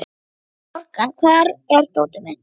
Morgan, hvar er dótið mitt?